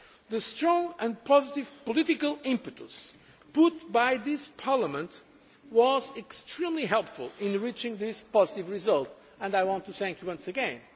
The strong and positive political impetus given by this Parliament was extremely helpful in reaching this positive result and I want to thank you once